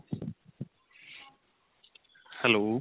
hello.